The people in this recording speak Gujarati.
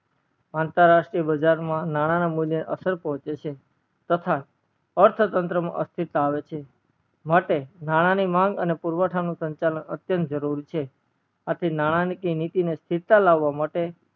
અંતર રાષ્તીર્ય બજાર માં નાણા ને મુલ્ય ને અસર પડે છે તથા અર્થ તંત્ર માં અસ્થિરતા આવે છે માટે નાણા ની માગ અને પુરવઠા નો સ્નાચલન અત્યંત જરૂર છે આ નાણકીય નીતિ માં સ્થિરતા લાવવા માટે